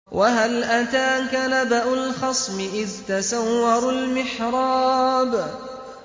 ۞ وَهَلْ أَتَاكَ نَبَأُ الْخَصْمِ إِذْ تَسَوَّرُوا الْمِحْرَابَ